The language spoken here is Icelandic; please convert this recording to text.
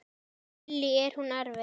Lillý: Er hún erfið?